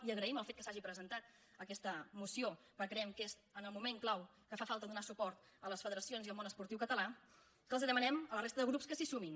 i agraïm al fet que s’hagi presentat aquesta moció perquè creiem que és en el moment clau que fa falta donar suport a les fe·deracions i al món esportiu català i que els demanem a la resta de grups que s’hi sumin